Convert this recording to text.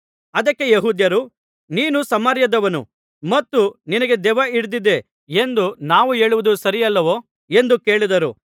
ಅದಕ್ಕೆ ಯೆಹೂದ್ಯರು ನೀನು ಸಮಾರ್ಯದವನು ಮತ್ತು ನಿನಗೆ ದೆವ್ವಹಿಡಿದಿದೆ ಎಂದು ನಾವು ಹೇಳುವುದು ಸರಿಯಲ್ಲವೋ ಎಂದು ಕೇಳಿದರು